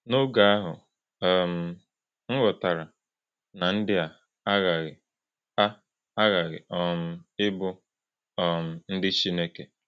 N’oge ahụ, um m ghọtara na ndị a aghaghị a aghaghị um ịbụ um ndị Chineke.”